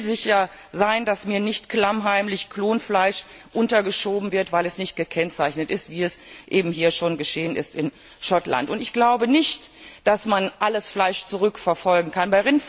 Ich will sicher sein, dass mir nicht klammheimlich Klonfleisch untergeschoben wird, weil es nicht gekennzeichnet ist, wie es in Schottland eben schon geschehen ist. Ich glaube nicht, dass man alles Fleisch zurückverfolgen kann.